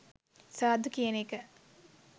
සාදු කියන එක